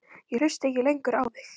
Ég hlusta ekki lengur á þig.